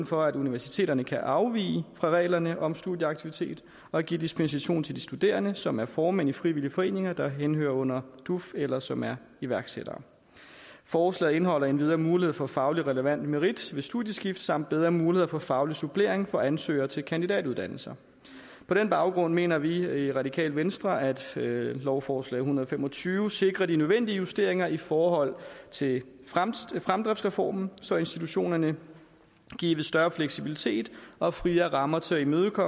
for at universiteterne kan afvige fra reglerne om studieaktivitet og give dispensation til de studerende som er formænd i frivillige foreninger der henhører under duf eller som er iværksættere forslaget indeholder endvidere mulighed for fagligt relevant merit ved studieskift samt bedre muligheder for faglig supplering for ansøgere til kandidatuddannelser på den baggrund mener vi i radikale venstre at lovforslag en hundrede og fem og tyve sikrer de nødvendige justeringer i forhold til fremdriftsreformen så institutionerne gives større fleksibilitet og friere rammer til at imødegå